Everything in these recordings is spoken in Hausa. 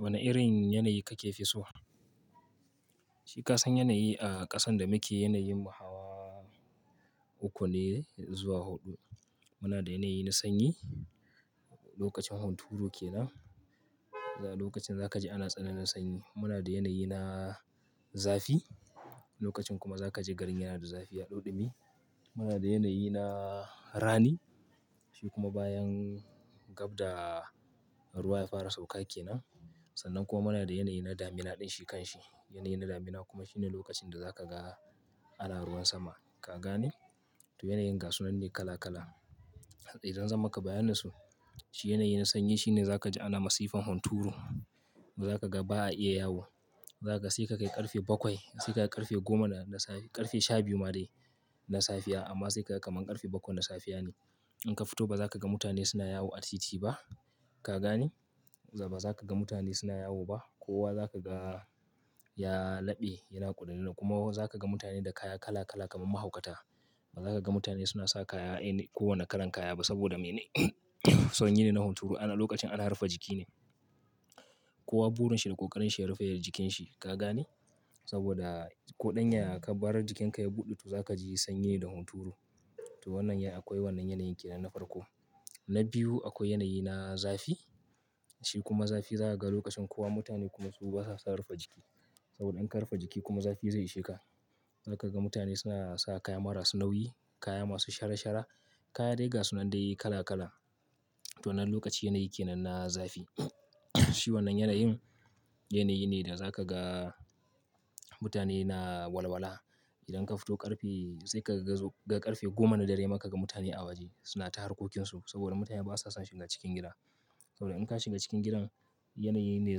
Wane irin yanayi kake fi so? Shi kasan yanayi a ƙasan da muke, yanayin mu hawa uku ne zuwa huɗu. Muna da yanayi na sanyi, lokacin hunturu ke nan. Lokacin za ka ji ana tsananin sanyi. Muna da yanayi na zafi. Lokacin kuma za ka ji garin yana da zafi yaɗauɗumi. Muna da yanayi na rani. Shi kuma bayan gab da ruwa ya fara sauƙa ke nan. Sannan kuma muna da yanayi na damina ɗin shi kan shi. Yanayi na damina kuma shine lokacin da za ka ga ana ruwan sama. Ka gane? To, yanayin gasunanne kala kala. Idan zan maka bayanin su, shi yanayi na sanyi shine za ka ji ana masifan hunturu. Ba za ka ga ba a iya yawo. Za ka sai ka kai ƙarfe bakwai, sai ka kai ƙarfe goma da safe, ƙarfe shabiyu madai na safiya amma sai ka ga kamar ƙarfe bakwai na safiya ne. In ka fito ba za ka ga mutane suna yawo a titi ba. Ka gane? Za ba za ka ga mutane suna yawo ba. Kowa za ka ga ya laɓe yana ƙuduna kuma za ka ga mutane da kaya kala kala kamar mahaukata. Ba za ka ga mutane suna sa kaya any ko wane kalan kaya ba. Saboda mene? Sanyi ne na hunturu. Ana lokacin ana rufe jiki ne. Kowa burin shi da ƙoƙarin shi ya rufe ya jikin shi. Ka gane? Saboda ko ɗan yaya ka bar jikin ka ya buɗe, to za ka ji sanyi da hunturu. To wannan ya, akwai wannan yanayin ke nan na farko. Na biyu akwai yanayi na zafi. Shi kuma zafi za ka ga lokacin kowa mutane kuma su basa son su rufe jiki. Saboda in ka rufe jiki kuma zafi zai isheka. Za ka ga mutane suna sa kaya marasu nauyi, kaya masu shara shara, kaya dai ga su nan dai kala kala. To wannan lokacin yanayi ke nan na zafi. Shi wannan yanayin, yanayi ne da za ka ga mutane na walwala. Idan ka fito ƙarfe, sai ka ga ƙarfe goma na dare ma ka ga mutane a waje suna ta harkokinsu. Saboda mutane basa son shiga cikin gida. Saboda in ka shiga cikin gidan, yanayi me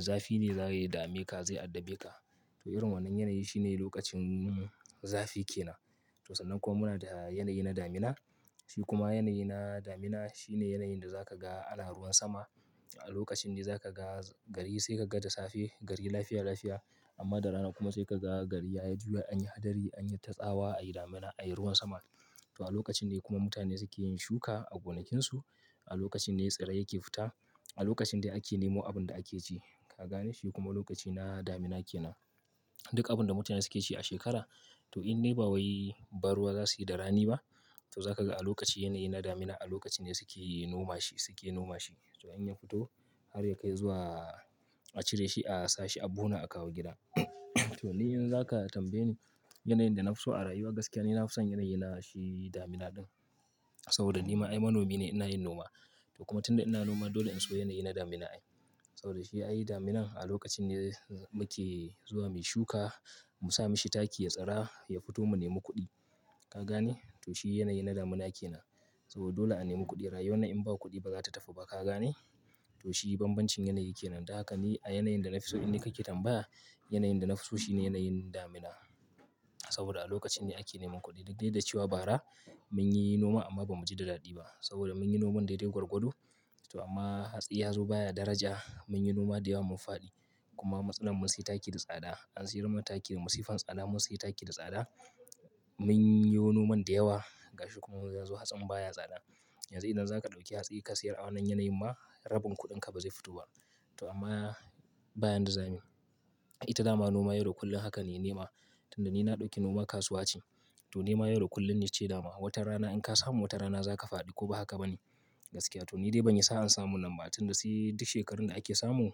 zafi ne za ya dame ka, zai addabe ka. To irin wannan yanayi shine lokacin zafi ke nan. To sannan kuma muna da yanayi na damina. Shi kuma yanayi na damina shine yanayin da za ka ga ana ruwan sama a lokacin ne za ka ga gari sai ka ga da safe. Gari lafiya lafiya amma da rana kuma sai ka ga gari ya juya anyi hadari, anyi tatsawa, ayi damina, ai ruwan sama. To a lokacin ne kuma mutane suke yin shuka a gonakinsu. A lokacin ne tsirrai ke fita. A lokacin ne ake nemo abun da ake ci. Ka gane? Shi kuma lokaci na damina ke nan. Duk abun da mutane suke ci a shekara, to in ne ba wai ba ruwa za suyi da rani ba. To za ka ga a lokacin yanayi na damina a lokacin ne suke noma shi, suke noma shi. To in ya fito har ya kai zuwa a cire shi, a sashi a buhu na a kawo gida. To ni in za ka tambaye ni yanayin da nafi so a rayuwa gaskiya ni nafi son yanayi na shi damina ɗin. Saboda ni ma ai manomi ne ina yin noma. To kuma tunda ina noma dole in so yanayi na damina ai. Saboda shi ayi daminan a lokacin ne muke zuwa muyi shuka, Musa mishi taki ya tsira, ya fito mu nemi kuɗi. Ka gane? To shi yanayi na damina ke nan. To dole a nemi kuɗi. Rayuwan nan in ba kuɗi ba zata tafi ba. Ka gane? To shi bambancin yanayi ke nan. Dan haka ni a yanayin da nafi so in ni kake tambaya, yanayin da nafi so shi ne yanayin damina. Saboda a lokacin ne ake neman kuɗi. Duk dai da cewa bara mun yi noma amma ba mu ji da daɗi ba. Saboda mun yi noman daidai gwargwado. To amma hatsi ya zo baya daraja. Mun yi noma da yawa mun faɗi. Kuma matsalan mun sai taki da tsada. An siyar mana taki da masifan tsada mun sayi taki da tsada. Mun yo noman da yawa gashi kuma ya zo hatsin baya tsada. Yanzu idan za ka ɗauki hatsi ka sayar a wannan yanayin ma rabin kuɗin ka bazai fito ba. To amma bayan da zamu yi, ita dama noma yau kullum haka ne nema. Tunda ni na ɗauki noma kasuwa ce. To nema yau da kullum ne ce dama. Watan rana in ka samu wata rana za ka faɗi ko ba haka ba ne gaskiya. To ni dai ban yi sa'an samu nan ba tunda sai duk shekarun da ake samu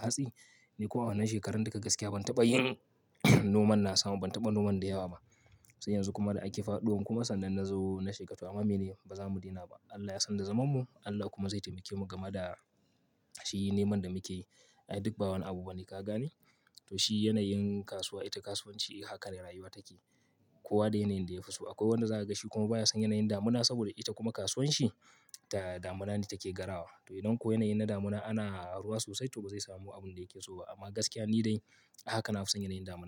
hatsi. Ni kuwa wannan shekarar duka gaskiya ban taɓa yin noman na sama, ban taɓa noman da yawa ba. Sai yanzu kuma da ake fado kuma sannan na zo na shiga. To amma mene? Ba za mu daina ba. Allah ya sanda zamanmu. Allah kuma zai taimake mu gama da shi neman da muke yi. Ai duk ba wani abu bane. Ka gane? To shi yanayin kasuwa ita kasuwanci haka ne rayuwa take. Kowa da yanayin da yafi so. Akwai wanda za ka gashi kuma baya son yanayin damina saboda ita kuma kasuwanshi ta damina ne take garawa. To idan ko yanayi na damina ana ruwa sosai to bazai samu abin da yake so ba. Amma gaskiya ni dai haka nafi son yanayin damina.